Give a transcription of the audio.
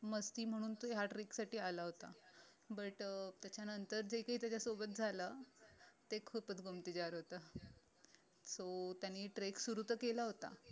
मस्ती म्हणून तो ह्या trek साठी आला होता but अं त्याच्यानंतर जे काही त्याच्या सोबत झालं ते खूप आढळत so त्याने trek तर सुरु केलं होत